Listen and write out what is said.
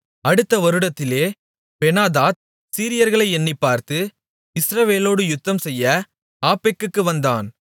அடுத்த வருடத்திலே பெனாதாத் சீரியர்களை எண்ணிப் பார்த்து இஸ்ரவேலோடு யுத்தம்செய்ய ஆப்பெக்குக்கு வந்தான்